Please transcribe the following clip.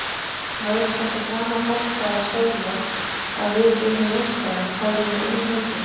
Væri þetta sama fólk þá að segja að við yrðum meistarar hefðum við unnið leikinn?